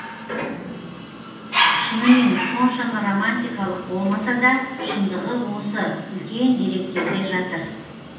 шынымен соншама романтикалық болмаса да шындығы осы үлкен деректерде жатыр